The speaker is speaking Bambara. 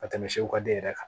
Ka tɛmɛ segu ka den yɛrɛ kan